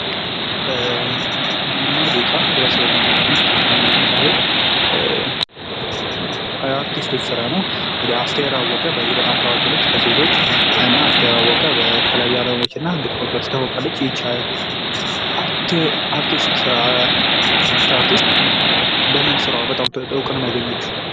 ሙዚቃ ህብረተሰቡን ለማዝናናት የሚካሄድ የአርቲስቶች ስራ ነው። አስቴር አወቀ እንግዲህ በዚህ በጣም ታዋቂ ነች ከሴቶች እና አስቴር አወቀ በተለያዩ አልበሞችና ግጥሞቿ ትታወቃለች። ይቺ አርቲስት በምን ስራዋ ነው በጣም እውቅናን ያገኘችው?